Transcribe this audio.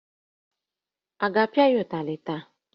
Ị ga-apịa ya ụtarị taa?